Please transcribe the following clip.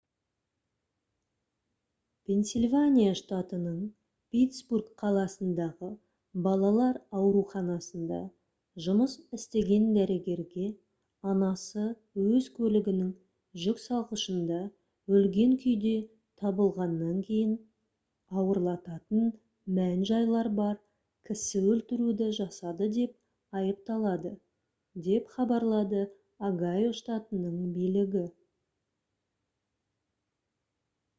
пенсильвания штатының питтсбург қаласындағы балалар ауруханасында жұмыс істеген дәрігерге анасы өз көлігінің жүксалғышында өлген күйде табылғаннан кейін ауырлататын мән-жайлар бар кісі өлтіруді жасады деп айыпталады деп хабарлады огайо штатының билігі